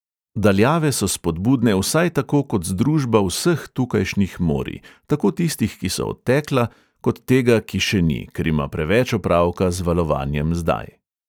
Daljave so spodbudne vsaj tako kot združba vseh tukajšnjih morij, tako tistih, ki so odtekla, kot tega, ki še ni, ker ima preveč opravka z valovanjem zdaj.